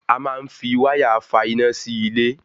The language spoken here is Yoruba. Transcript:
A máa ń fi wáyà fà iná sí ilé